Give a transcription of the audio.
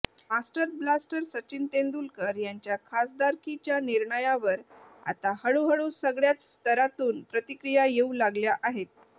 master blaster Sachin Tendulkar यांच्या खासदारकिच्या निर्णयावर आता हळूहळू सगळ्याच स्तरातून प्रतिक्रिया येऊ लागल्या आहेत